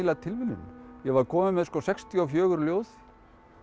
tilviljun ég var komin með sextíu og fjögur ljóð